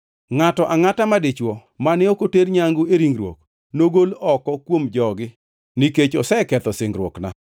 Ngʼato angʼata madichwo, mane ok oter nyangu e ringruok, nogol oko kuom jogi; nikech oseketho singruokna.”